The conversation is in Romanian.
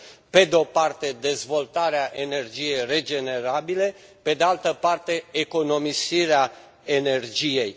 Pe de o parte, dezvoltarea energiei regenerabile, pe de altă parte, economisirea energiei.